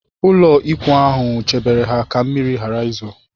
Ụlọikwuu ahụ chebere ha ka mmiri ghara izo